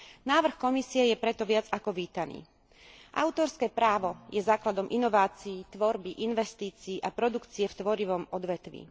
Návrh Komisie je preto viac ako vítaný. Autorské právo je základom inovácií, tvorby, investícií a produkcie v tvorivom odvetví.